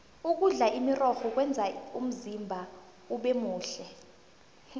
ukudla imirorho kwenza umzimba ubemuhle